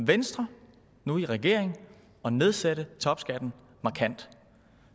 venstre nu i regering at nedsætte topskatten markant